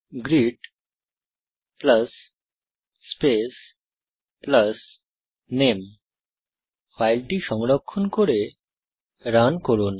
greet space নামে ফাইলটি সংরক্ষণ করে রান করুন